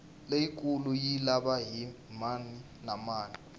leyikulu yi lava hi mani na mani